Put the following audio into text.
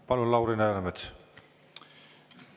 Palun, Lauri Läänemets!